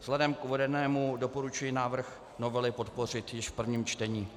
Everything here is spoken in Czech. Vzhledem k uvedenému doporučuji návrh novely podpořit již v prvním čtení.